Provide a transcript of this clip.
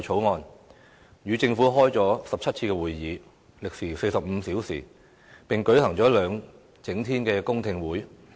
我們與政府召開了17次會議，歷時45小時，並舉行了兩整天的公聽會。